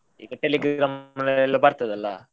ಈಗ Telegram ಅಲ್ಲಿ ಎಲ್ಲ ಬರ್ತದೆ ಅಲ.